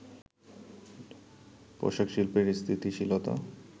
পোশাক শিল্পের স্থিতিশীলতা